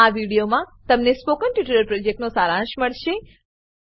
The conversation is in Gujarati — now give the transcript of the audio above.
આ વિડીયોમા તમને સ્પોકન ટ્યુટોરીયલ પ્રોજેક્ટનો સારાંશ મળશે